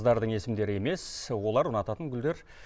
қыздардың есімдері емес олар ұнататын гүлдер